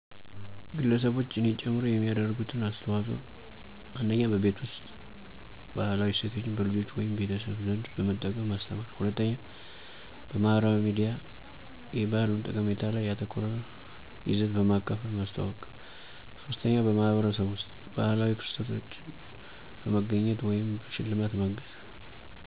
ግለሰቦች (እኔ ጨምሮ) የሚያደርጉት አስተዋጽኦ 1. በቤት ውስጥ: ባህላዊ እሴቶችን በልጆች ወይም ቤተሰብ ዘንድ በመጠቀም ማስተማር 2. በማህበራዊ ሚዲያ: የባህል ጠቀሜታ ላይ ያተኮረ ይዘት በማካፈል ማስተዋወቅ 3. በማህበረሰብ ውስጥ: ባህላዊ ክስተቶችን በመገኘት ወይም በሽልማት ማገዝ